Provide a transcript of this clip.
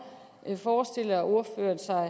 forestiller ordføreren sig